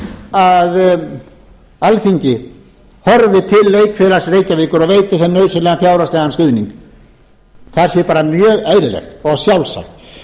að alþingi horfi til leikfélags reykjavíkur og veiti þeim nauðsynlegan fjárhagslegan stuðning það sé bara mjög eðlilegt og sjálfsagt